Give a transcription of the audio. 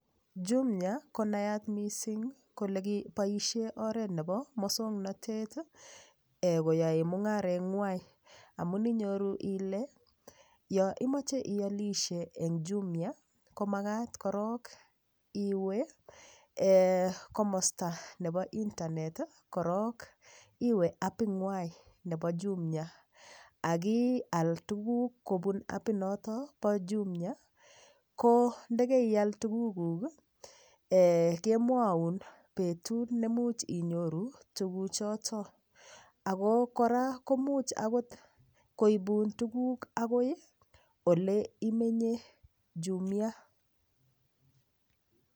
Jumia konayat mising' kole boishe oret nebo mosong'natet koyoei mung'areng'wai amun inyoru ile yo imoche iolishe eng' jumia komakat korok iwe komosta nebo internet korok iwe apikwai nebo jumia akial tuguk kobun apinoto bo jumia ko ndekeial tuguk kemwou betut nemuch inyoru tuguchoto ako kora komuch akot koibun tuguk akoi ole imenye jumia